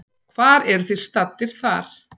Hvar eruð þið staddir þar?